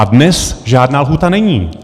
A dnes žádná lhůta není.